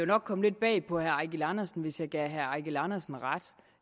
nok komme lidt bag på herre eigil andersen hvis jeg gav herre eigil andersen ret